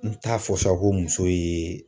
N t'a fɔ sa ko muso ye